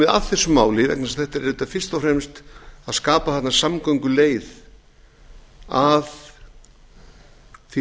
að þessu máli vegna þess að þetta er auðvitað fyrst og fremst að skapa þarna samgönguleið að því